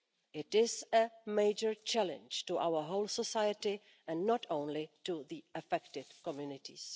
It is a major challenge to our whole society and not only to the affected communities.